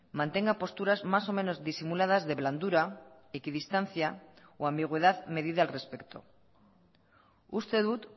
mantenga posturas más o menos disimuladas de blandura equidistancia o ambigüedad medida al respecto uste dut